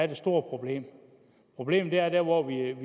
det store problem problemet er der hvor vi